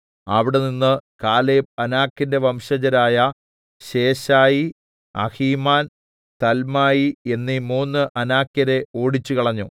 അവിടെനിന്ന് കാലേബ് അനാക്കിന്റെ വംശജരായ ശേശായി അഹീമാൻ തൽമായി എന്നീ മൂന്നു അനാക്യരെ ഓടിച്ചുകളഞ്ഞു